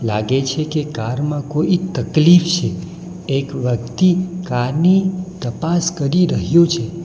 લાગે છે કે કાર માં કોઈ તકલીફ છે એક વ્યક્તિ કારની તપાસ કરી રહ્યો છે.